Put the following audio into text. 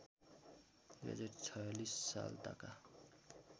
२०४६ सालताका